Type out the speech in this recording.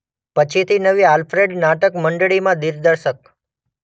પછીથી નવી આલ્ફ્રેડ નાટક મંડળીમાં દિગ્દર્શક.